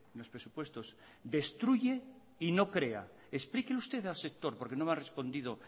los presupuestos destruye y no crea explíquelo usted al sector porque no me ha respondido